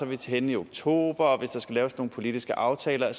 vi henne i oktober og hvis der skal laves nogle politiske aftaler